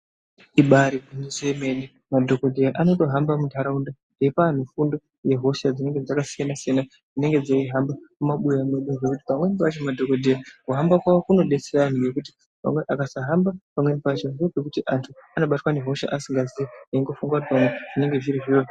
Ibari gwinyiso yemene madhokodheya anotohamba muntaraunda eipa antu fundo yehosha dzinenge dzakasiyana siyana dzinenge dzeihamba mumabuya mwedu, pamweni pacho madhokodheya kuhamba kwawo kunodetsere antu nekuti vakasahamba pamweni pacho ndopekuti antu anobatwa nehosha asingaziyi eingofunga kuti pamwe zvinenge zviri zviro.